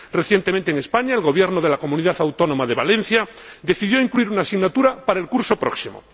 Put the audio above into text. Recientemente, en España, el Gobierno de la Comunidad Autónoma Valenciana decidió incluir una asignatura para el curso próximo.